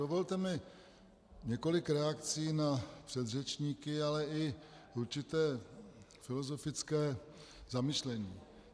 Dovolte mi několik reakcí na předřečníky, ale i určité filozofické zamyšlení.